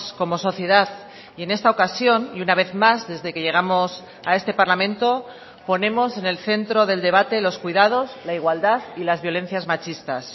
como sociedad y en esta ocasión y una vez más desde que llegamos a este parlamento ponemos en el centro del debate los cuidados la igualdad y las violencias machistas